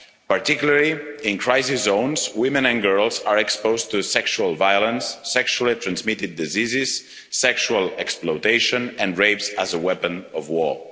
particularly, in crisis zones, women and girls are exposed to sexual violence, sexually transmitted diseases, sexual exploitation and rape as a weapon of war.